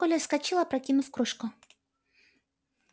коля вскочил опрокинув кружку